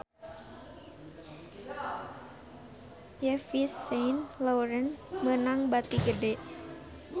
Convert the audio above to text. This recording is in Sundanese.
Yves Saint Laurent meunang bati gede